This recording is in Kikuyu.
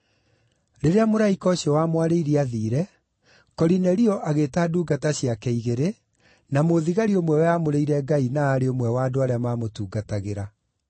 Rĩrĩa mũraika ũcio wamwarĩirie aathiire, Korinelio agĩĩta ndungata ciake igĩrĩ na mũthigari ũmwe weamũrĩire Ngai, na aarĩ ũmwe wa andũ arĩa maamũtungatagĩra.